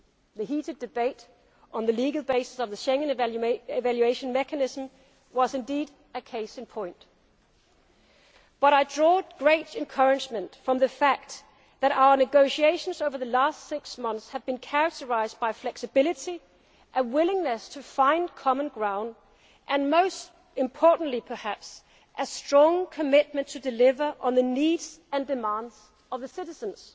interests, the Council and Parliament will not always share the same view. The heated debate on the legal basis of the Schengen evaluation mechanism was, indeed, a case in point, but I drew great encouragement from the fact that our negotiations over the past six months have been characterised by flexibility, a willingness to find common ground and, most importantly perhaps,